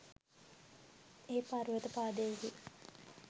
ඒ පර්වත පාදයෙහි